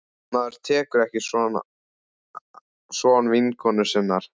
Maður tekur ekki son vinkonu sinnar.